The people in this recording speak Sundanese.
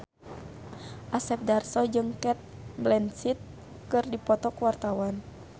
Asep Darso jeung Cate Blanchett keur dipoto ku wartawan